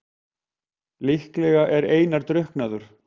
Líklega er Einar drukknaður.